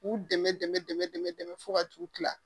K'u dɛmɛ dɛmɛ dɛmɛ dɛmɛ fo ka t'u kila